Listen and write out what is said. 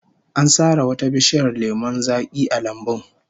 An sare wata bishiyar lemon zaki a lambun